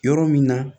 Yɔrɔ min na